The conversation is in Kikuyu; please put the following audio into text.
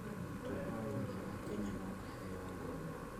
Mũrutwo o wothe wa Kenya no aheo ngoombo